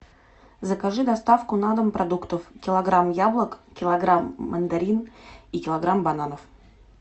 закажи доставку на дом продуктов килограмм яблок килограмм мандарин и килограмм бананов